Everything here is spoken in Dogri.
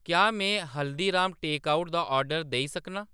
क्या में हल्दीराम टेकआउट दा आर्डर देई सकनां